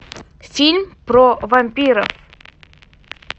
фильм про вампиров